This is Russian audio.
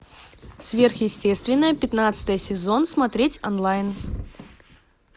сверхъестественное пятнадцатый сезон смотреть онлайн